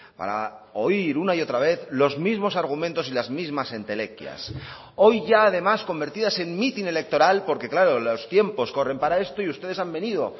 para oír una y otra vez los mismos argumentos y las mismas entelequias hoy ya además convertidas en mitin electoral porque claro los tiempos corren para esto y ustedes han venido